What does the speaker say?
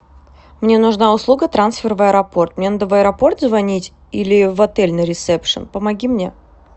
мне нужна услуга трансфер в аэропорт мне надо в аэропорт звонить или в отель на ресепшен помоги мне